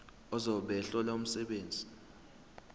ozobe ehlola umsebenzi